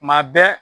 Kuma bɛɛ